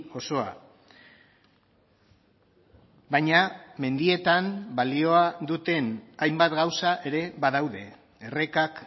osoa baina mendietan balioa duten hainbat gauza ere badaude errekak